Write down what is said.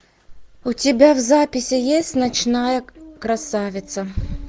у тебя в записи есть ночная красавица